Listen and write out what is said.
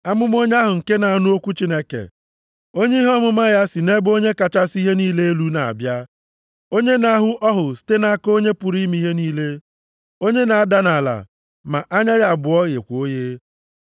amụma onye ahụ nke na-anụ okwu Chineke, onye ihe ọmụma ya si nʼebe Onye kachasị ihe niile elu na-abịa. Onye na-ahụ ọhụ site nʼaka Onye pụrụ ime ihe niile. Onye na-ada nʼala, ma anya ya abụọ ghekwa oghe.